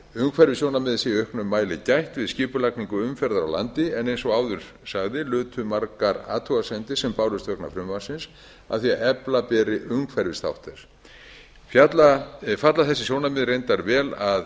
umhverfissjónarmiða sé í auknum mæli gætt við skipulagningu umferðar á landi en eins og áður sagði lutu margar athugasemdir sem bárust vegna frumvarpsins að því að efla beri umhverfisþátt þess falla þessi sjónarmið reyndar vel að